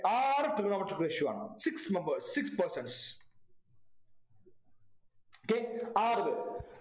ആറു Trigonometric ratio ആണ് six members six persons okay ആറു പേർ